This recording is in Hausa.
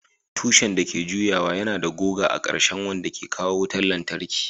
Tushen da ke juyawa yana da goga a ƙarshen wanda ke kawo wutar lantarki.